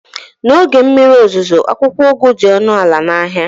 n'oge mmiri ozuzo, akwụkwọ ugu dị ọnụ ala na ahịa